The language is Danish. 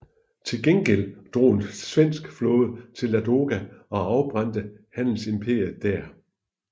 Til gengæld drog en svensk flåde til Ladoga og afbrændte handelsimperiet der